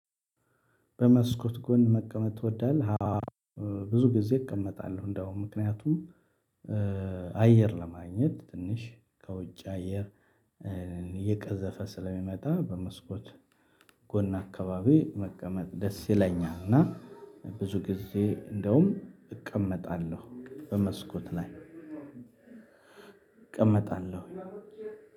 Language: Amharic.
በመስኮት ጎን መቀመጥ ትወዳለህ? አዎ። ብዙ ጊዜ እቀመጣለሁ እንደውም ምክንያቱም አየር ለማግኘት ትንሽ ከውጭ አየር እየቀዘፈ ስለሚመጣ። በመስኮት ጎን አካባቢ መቀመጥ ደስ ይለኛል። እና ብዙ ጊዜ እንደውም እቀመጣለሁ በመስኮት ላይ እቀመጣለሁ።